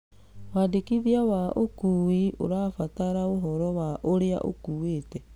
Wandĩkithia wa ikuũ ũrabatara ũhoro wa ũrĩa ũkuĩte.